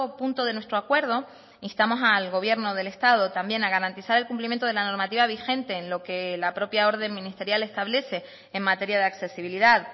punto de nuestro acuerdo instamos al gobierno del estado también a garantizar el cumplimiento de la normativa vigente en lo que la propia orden ministerial establece en materia de accesibilidad